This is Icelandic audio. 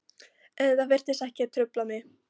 En þetta virtist ekki trufla mig.